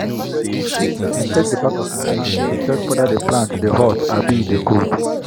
i take the back of my hand to check whether the plant dey hot abi e dey cold.